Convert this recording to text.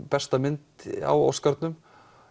besta mynd á Óskarnum